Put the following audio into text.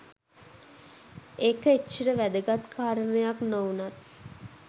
ඒක එච්චර වැදගත් කාරණයක් නොවුනත්